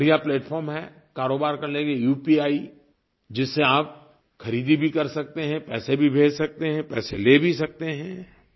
एक बढ़िया प्लैटफार्म है कारोबार करने की उपी जिससे आप ख़रीदी भी कर सकते हैं पैसे भी भेज सकते हैं पैसे ले भी सकते हैं